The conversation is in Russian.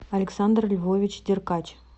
александр львович деркач